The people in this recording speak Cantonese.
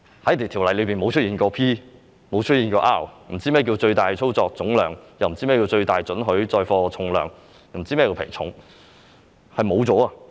《條例》不曾出現 "P" 或 "R"， 他們不知道何謂"最大操作總重量"，不知道何謂"最大准許載貨重量"，又不知道何謂"皮重"。